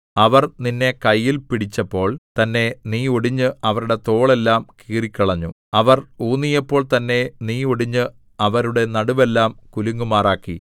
അവർ നിന്നെ കയ്യിൽ പിടിച്ചപ്പോൾ തന്നെ നീ ഒടിഞ്ഞ് അവരുടെ തോൾ എല്ലാം കീറിക്കളഞ്ഞു അവർ ഊന്നിയപ്പോൾ തന്നെ നീ ഒടിഞ്ഞ് അവരുടെ നടുവെല്ലാം കുലുങ്ങുമാറാക്കി